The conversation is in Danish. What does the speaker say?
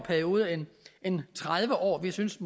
periode end tredive år vi synes